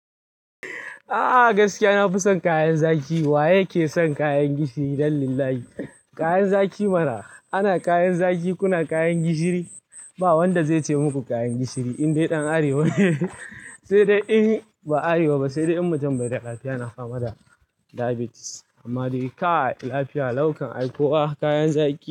A'a gaskiya nafi son kayan zaki. Waye ke son kayan gishiri don Allah? Kayan zaki mana. Ana kayan zaki, kuna kayan gishiri. Ba wanda zai ce muku kayan gishiri indai dan arewa ne. Sai dai in ba arewa ba sai dai in mutum bai da lafiya na fama da diabetes. Amma dai ka lafiya, lau kan aiko wa kayan zaki.